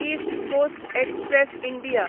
east coast express India